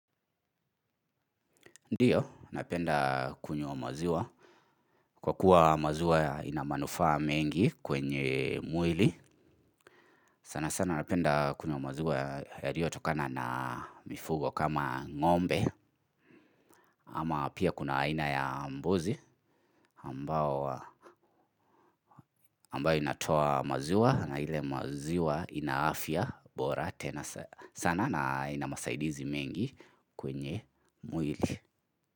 Ndiyo, napenda kunywa maziwa. Kwa kuwa maziwa ina manufaa mengi kwenye mwili. Sana sana napenda kunywa maziwa yaliyotokana na mifugo kama ng'ombe. Ama pia kuna aina ya mbuzi ambao ambayo inatoa maziwa na ile maziwa ina afya bora tena sana na ina masaidizi mengi kwenye mwili.